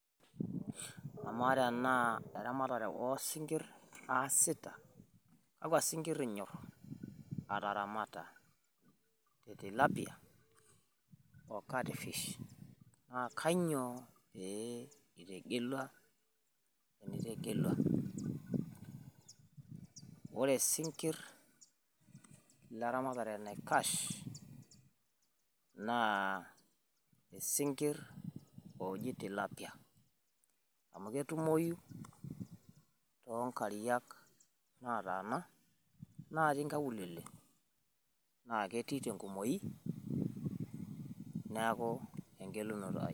emaa tenaa eramatare osinkirr aa sita kakua sinkirr inyorr ataramata, katilapiaa ocatfish, naa kainyioo pee pitegelua? ore sinkirr leramatare naikash naa sinkirr oji tilapiaa amu ketumoyu tonkariak naatana natii nkaulele na ketii tenkumoi neaku engelunoto ai